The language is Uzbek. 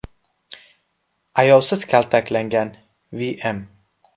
Ayovsiz kaltaklangan V.M.